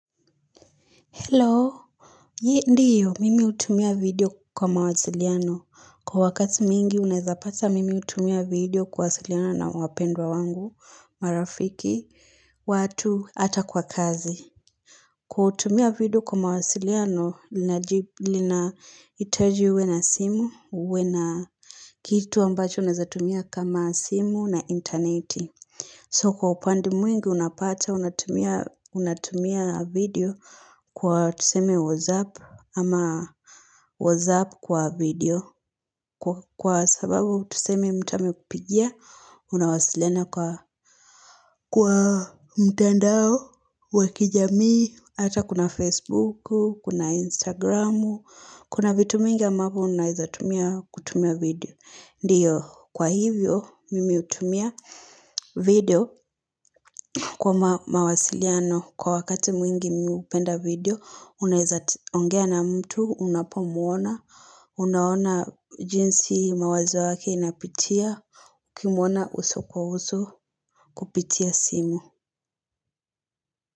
Hello, ye ndiyo, mimi hutumia video kwa mawasiliano. Kwa wakati mwingi, unawezapata mimi hutumia video kuwasiliana na wapendwa wangu, marafiki, watu hata kwa kazi. Kutumia video kwa mawasiliano, linahitaji uwe na simu, uwe na kitu ambacho unazatumia kama simu na interneti. So kwa upande mwingi unapata, unatumia video kwa tuseme whatsapp ama whatsapp kwa video. Kwa sababu tuseme mtu amekupigia, unawasiliana kwa mtandao, wa kijamii, hata kuna facebook, kuna instagram, kuna vitu nyingi ambapo unawezatumia kutumia video. Ndiyo kwa hivyo mimi hutumia video kwa mawasiliano kwa wakati mwingi mimi hupenda video unaweza kuongea na mtu unapomwona unaona jinsi mawazo yake inapitia ukimona uso kwa uso kupitia simu.